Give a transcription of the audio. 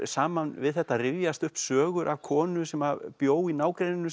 saman við þetta rifjast upp sögur af konu sem að bjó í nágrenninu